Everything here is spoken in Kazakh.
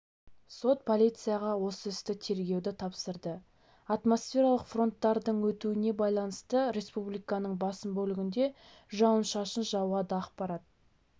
сот полицияға осы істі тергеуді тапсырды атмосфералық фронттардың өтуіне байланысты республиканың басым бөлігінде жауын-шашын жауады ақпарат